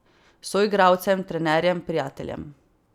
Soigralcem, trenerjem, prijateljem ...